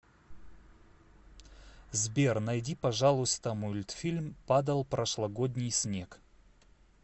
сбер найди пожалуйста мультфильм падал прошлогодний снег